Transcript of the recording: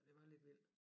Det var lidt vildt